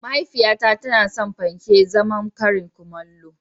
Mahaifiyata tana son panke azaman karin kumallo.